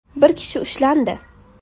Bir kishi ushlandi.